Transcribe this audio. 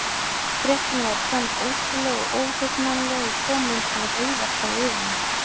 Fréttin var í senn ótrúleg og óhugnanleg og kom einsog reiðarslag yfir mig.